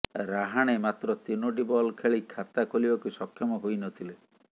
ରାହାଣେ ମାତ୍ର ତିନୋଟି ବଲ୍ ଖେଳି ଖାତା ଖୋଲିବାକୁ ସକ୍ଷମ ହୋଇନଥିଲେ